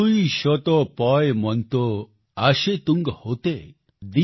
છુઈ શુતો પૉયમોન્તો આશે તુંગ હોતે |